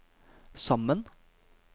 sammen